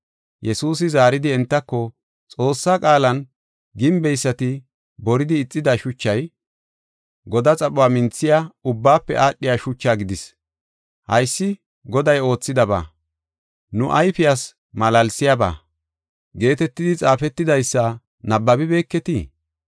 Yesuusi zaaridi entako, Xoossaa qaalan, “ ‘Gimbeysati boridi ixida shuchay, godaa xaphuwa minthiya, ubbaafe aadhiya shuchaa gidis. Haysi Goday oothidaba; nu ayfiyas malaalsiyaba’ geetetidi xaafetidaysa nabbabibeketii?